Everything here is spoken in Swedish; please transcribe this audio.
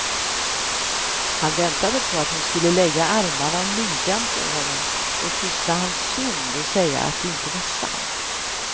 Han väntade på att hon skulle lägga armarna om midjan på honom och kyssa hans kind och säga att det inte var sant.